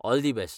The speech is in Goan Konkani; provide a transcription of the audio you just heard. All the best!